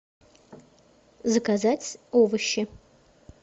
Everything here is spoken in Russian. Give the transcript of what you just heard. заказать овощи